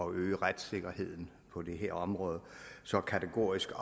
øge retssikkerheden på det her område så kategorisk